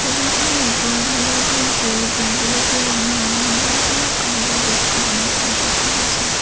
Table খনৰ ওপৰত হালধীয়া সেউজীয়া গুলপীয়া ৰঙা ৰঙৰ বহুতো কাগজৰ বস্তু বনাই থোৱা দেখা পোৱা গৈছে।